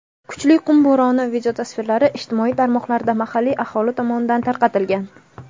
kuchli qum bo‘roni videotasvirlari ijtimoiy tarmoqlarda mahalliy aholi tomonidan tarqatilgan.